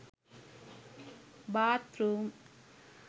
bath room